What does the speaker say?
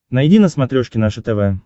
найди на смотрешке наше тв